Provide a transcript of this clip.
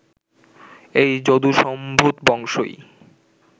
এই যদুসম্ভূত বংশই